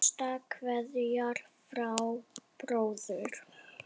Hinsta kveðja frá bróður.